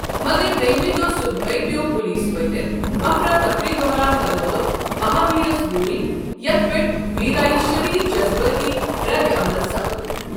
مگر دوٚیمہِ دۄہہ صُبحٲے پیوٚو پلیس وٲتتھ، افراتفری دوران لگٲوٕکھ، مہابیٖرس گوٗلۍ یتھ پیٛٹھ ویٖرایہ شدید جذبٲتی ردعمل سپُد۔